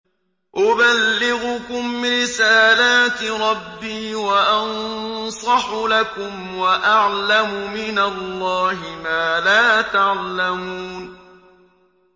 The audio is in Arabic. أُبَلِّغُكُمْ رِسَالَاتِ رَبِّي وَأَنصَحُ لَكُمْ وَأَعْلَمُ مِنَ اللَّهِ مَا لَا تَعْلَمُونَ